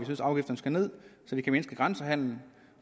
afgifterne skal ned så det kan mindske grænsehandelen